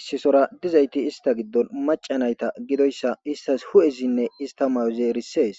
Issi soora dizayti ista gidon macca nayta gidoyssa istas hu'ezinne ista mayozi erisees.